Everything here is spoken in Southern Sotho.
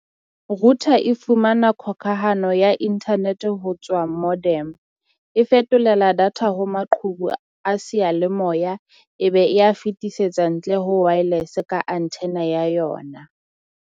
Router e fumana khokahano ya internet ho tswa modem. E fetolela data ho maqhubu a seyalemoya, ebe e ya fetisetsa ntle ho wireless ka antenna ya yona.